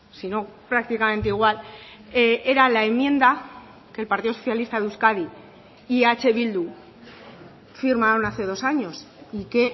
sino prácticamente igual era la enmienda que el partido socialista de euskadi y eh bildu firmaron hace dos años y que